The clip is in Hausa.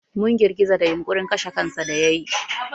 Mun girgiza da yunƙurin kashe kansa da yayi.